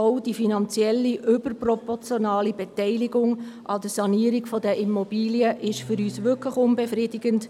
Auch die finanziell überproportionale Beteiligung an der Sanierung der Immobilien ist für uns wirklich unbefriedigend.